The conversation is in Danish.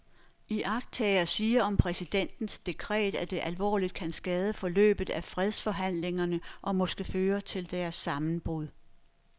Iagttagere siger om præsidentens dekret, at det alvorligt kan skade forløbet af fredsforhandlingerne og måske føre til deres sammenbrud.